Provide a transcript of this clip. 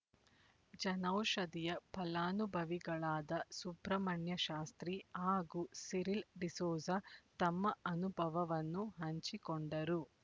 ಜನೌಷಧಿಯ ಫಲಾನುಭವಿಗಳಾದ ಸುಬ್ರಹ್ಮಣ್ಯ ಶಾಸ್ತ್ರೀ ಹಾಗೂ ಸಿರಿಲ್ ಡಿಸೋಜ ತಮ್ಮ ಅನುಭವವನ್ನು ಹಂಚಿಕೊಂಡರು